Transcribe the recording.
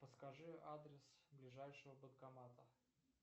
подскажи адрес ближайшего банкомата